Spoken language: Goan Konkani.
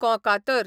कोंकातर